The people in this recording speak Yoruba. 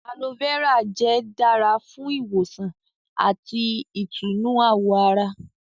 Aloe vera jẹ́ dára fún ìwòsàn àti ìtùnú àwọ̀ ará